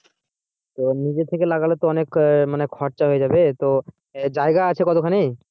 তো নিজে থেকে লাগালে তো অনেক আহ মানে খরচ হয়ে যাবে তো জায়গা আছে কতখানি?